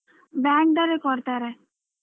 Bank ದವರೇ ಕೊಡ್ತಾರೆ.